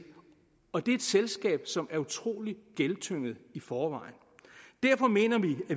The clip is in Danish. og det er et selskab som er utrolig gældstynget i forvejen derfor mener